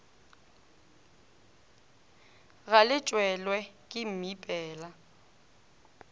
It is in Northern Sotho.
ga le tshelwe ke mmipela